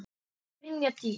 Brynja Dís.